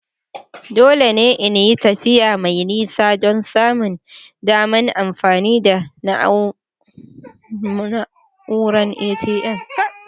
Dole ne in yi tafiya mai nisa don samun daman amfani da na'uran ATM.